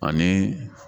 Ani